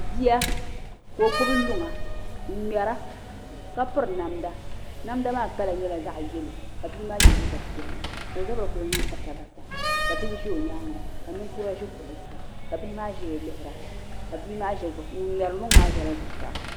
Bia ka o gbubi luŋa n ŋmɛra ka piri namda namda maa kala nyɛla zaɣ yɛlo ka bia maa yɛ liiga piɛlli ka o zabiri ku niŋ basa basa ka bihi ʒɛ o nyaanga ka ninkura ʒi kuɣu zuɣu ka bihi maa ʒɛya lihira ŋun ŋmɛri luŋa maa ʒɛla zuɣusaa